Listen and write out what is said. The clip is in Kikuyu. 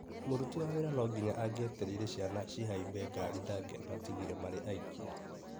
Mũruti wa wĩra nonginya angetereire ciana cihaimbe ngari ndangĩamatigire marĩ aiki.